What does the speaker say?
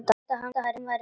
Hélt að það væri málið.